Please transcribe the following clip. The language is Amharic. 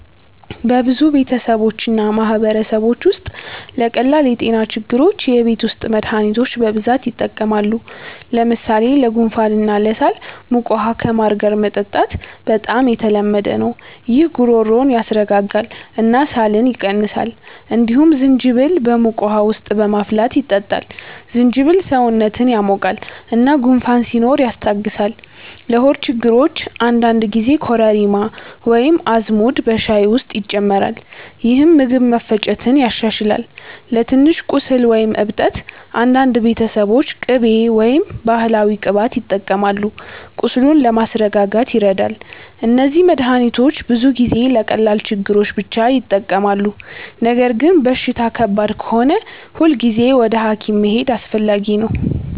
በብዙ ቤተሰቦች እና ማህበረሰቦች ውስጥ ለቀላል የጤና ችግሮች የቤት ውስጥ መድሃኒቶች በብዛት ይጠቀማሉ። ለምሳሌ ለጉንፋን እና ለሳል ሞቅ ውሃ ከማር ጋር መጠጣት በጣም የተለመደ ነው። ይህ ጉሮሮን ያስረጋጋል እና ሳልን ይቀንሳል። እንዲሁም ዝንጅብል በሞቅ ውሃ ውስጥ በማፍላት ይጠጣል። ዝንጅብል ሰውነትን ያሞቃል እና ጉንፋን ሲኖር ያስታግሳል። ለሆድ ችግሮች አንዳንድ ጊዜ ኮረሪማ ወይም አዝሙድ በሻይ ውስጥ ይጨመራል፣ ይህም ምግብ መፈጨትን ያሻሽላል። ለትንሽ ቁስል ወይም እብጠት አንዳንድ ቤተሰቦች ቅቤ ወይም ባህላዊ ቅባት ይጠቀማሉ፣ ቁስሉን ለማስረጋጋት ይረዳል። እነዚህ መድሃኒቶች ብዙ ጊዜ ለቀላል ችግሮች ብቻ ይጠቅማሉ። ነገር ግን በሽታ ከባድ ከሆነ ሁልጊዜ ወደ ሐኪም መሄድ አስፈላጊ ነው።